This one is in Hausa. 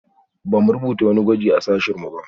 Ba mu rubuta wani gwaji a sashen mu ba